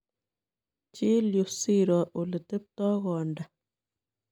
Chil yuu siiro oleteptoi kondaa.